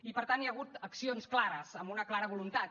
i per tant hi ha hagut accions clares amb una clara voluntat